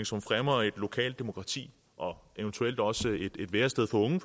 som fremmer et lokalt demokrati og eventuelt også et værested for unge